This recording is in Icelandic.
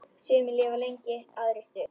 Sumir lifa lengi, aðrir stutt.